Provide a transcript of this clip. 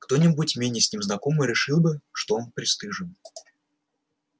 кто-нибудь менее с ним знакомый решил бы что он пристыжён